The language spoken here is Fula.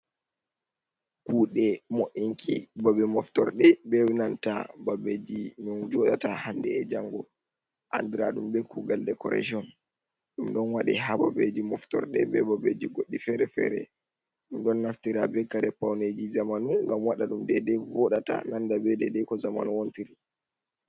kuɗe mo ’inki babe moftorde. Benanta babeji ɗum joɗata hande e jango andiraɗum be kugal decoration. Ɗum ɗon waɗe ha babeji moftorde, be babeji goɗɗi fere-fere. Ɗum ɗon naftira be kare pauneji zamanu, gam waɗaɗum dede voɗata nanda be dede ko zamanu wontiri.